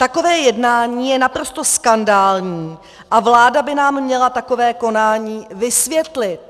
Takové jednání je naprosto skandální a vláda by nám měla takové konání vysvětlit.